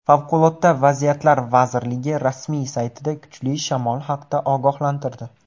Favqulodda vaziyatlar vazirligi rasmiy saytida kuchli shamol haqida ogohlantirdi .